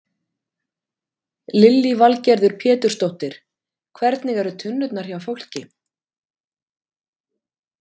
Lillý Valgerður Pétursdóttir: Hvernig eru tunnurnar hjá fólki?